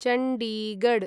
Chandigarh